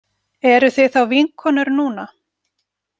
Eruð þið þá vinkonur núna?